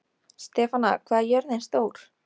Stefana, hvað er jörðin stór?